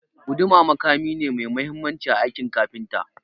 Guduma makami ne mai mahimmanci a aikin kafinta.